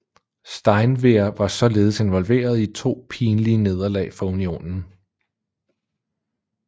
Steinwehr var således involveret i to pinlige nederlag for Unionen